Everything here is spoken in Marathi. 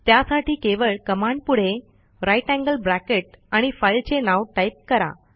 त्यासाठी केवळ कमांडपुढे ग्रेटर थान साइन आणि फाईलचे नाव टाईप करा